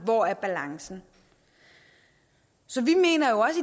hvor er balancen så vi mener jo